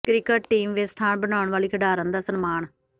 cricket team ਵਿੱਚ ਸਥਾਨ ਬਣਾਉਣ ਵਾਲੀ ਖਿਡਾਰਨ ਦਾ ਸਨਮਾਨ